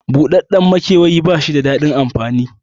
Buɗaɗɗen maikewayi bashi da daɗin amfani